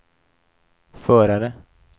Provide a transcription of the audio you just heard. förare